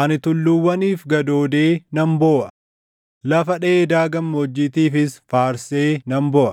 Ani tulluuwwaniif gadoodee nan booʼa; lafa dheedaa gammoojjiitiifis faarsee nan booʼa.